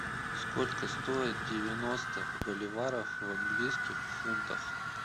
сколько стоит девяносто боливаров в английских фунтах